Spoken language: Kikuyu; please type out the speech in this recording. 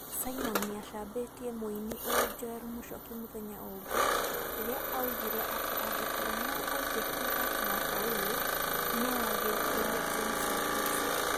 Simon niacambĩtie mũini ũyũ Joel Muchoki mũthenya ũngi rĩrĩa augire atĩ angĩkorwo no aikie kura mwaka ũyũ, noagĩikĩirie James Wekesa